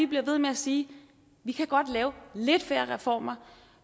bliver ved med at sige vi kan godt lave lidt flere reformer